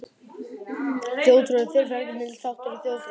Þjóðtrú er fyrirferðamikill þáttur í þjóðfræði.